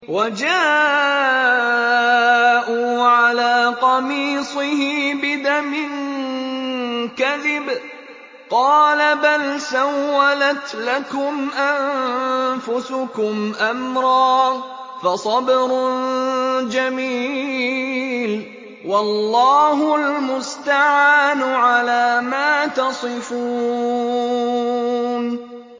وَجَاءُوا عَلَىٰ قَمِيصِهِ بِدَمٍ كَذِبٍ ۚ قَالَ بَلْ سَوَّلَتْ لَكُمْ أَنفُسُكُمْ أَمْرًا ۖ فَصَبْرٌ جَمِيلٌ ۖ وَاللَّهُ الْمُسْتَعَانُ عَلَىٰ مَا تَصِفُونَ